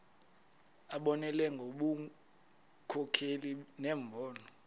abonelele ngobunkokheli nembono